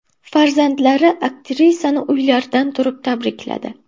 Farzandlari aktrisani uylaridan turib tabrikladi .